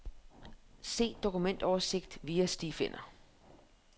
Se dokumentoversigt via stifinder.